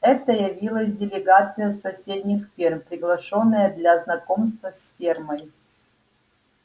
это явилась делегация с соседних ферм приглашённая для знакомства с фермой